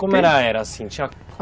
Como ela era assim?